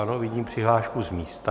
Ano, vidím přihlášku z místa.